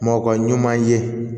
Mɔkɔ ka ɲuma ye